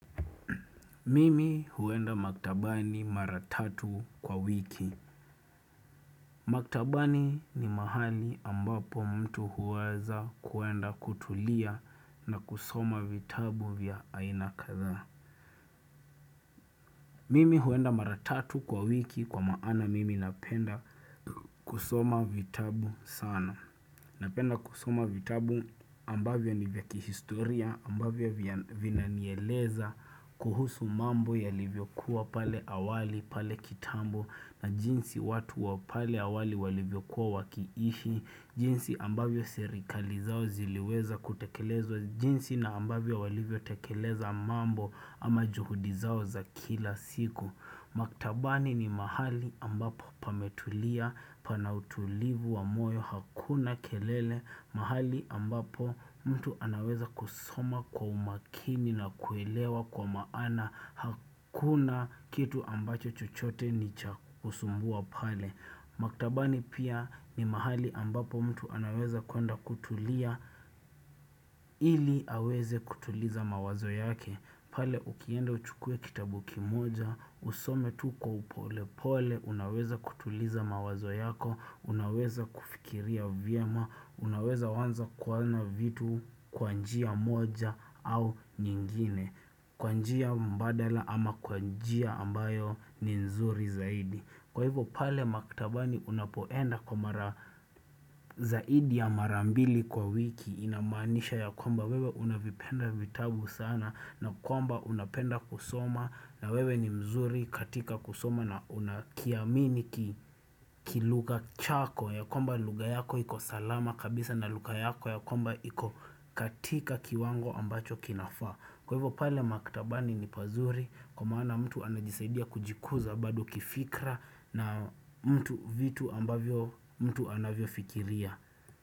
Mimi huenda maktabani maratatu kwa wiki. Maktabani ni mahali ambapo mtu huweza kuenda kutulia na kusoma vitabu vya ainakatha. Mimi huenda maratatu kwa wiki kwa maana mimi napenda kusoma vitabu sana. Napenda kusuma vitabu ambavyo ni vya kihistoria ambavyo vya vinanieleza kuhusu mambo yalivyokuwa pale awali, pale kitambo na jinsi watu wa pale awali walivyokuwa wakiishi, jinsi ambavyo serikali zao ziliweza kutekeleza jinsi na ambavyo walivyo tekeleza mambo ama juhudi zao za kila siku. Maktabani ni mahali ambapo pametulia pana utulivu wa moyo hakuna kelele mahali ambapo mtu anaweza kusoma kwa umakini na kuelewa kwa maana hakuna kitu ambacho chochote ni cha kusumbua pale. Maktabani pia ni mahali ambapo mtu anaweza kwenda kutulia ili aweze kutuliza mawazo yake pale ukienda uchukue kitabuki moja, usome tu kwa upolepole, unaweza kutuliza mawazo yako, unaweza kufikiria vyema, unaweza wanza kuanza vitu kwa njia moja au nyingine Kwa njia mbadala ama kwa njia ambayo ni nzuri zaidi Kwa hivyo pale maktabani unapoenda kwa mara zaidi ya marambili kwa wiki inamanisha ya kwamba wewe unavipenda vitabu sana na kwamba unapenda kusoma na wewe ni mzuri katika kusoma na unakiamini kilugha chako ya kwamba lugha yako ikosalama kabisa na lugha yako ya kwamba ikokatika kiwango ambacho kinafaa. Kwa hivyo pale maktabani ni pazuri kumwoana mtu anajisaidia kujikuza bado kifikra na mtu vitu ambavyo mtu anavyo fikiria.